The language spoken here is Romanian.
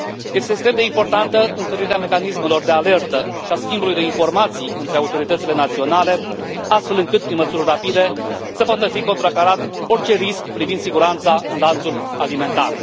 Este extrem de importantă întărirea mecanismelor de alertă și a schimbului de informații între autoritățile naționale, astfel încât, prin măsuri rapide, să poată fi contracarat orice risc privind siguranța în lanțul alimentar.